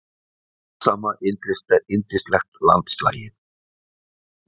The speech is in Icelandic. og dásama yndislegt landslagið.